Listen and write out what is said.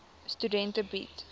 studente bied